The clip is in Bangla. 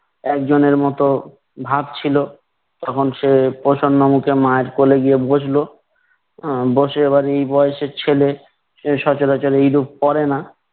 একজনের মতো ভাত ছিলো। তখন সে প্রসন্নমুখে মায়ের কোলে গিয়ে বসলো। উম বসে এবার এ বয়সের ছেলে সচরাচর এরূপ করে না।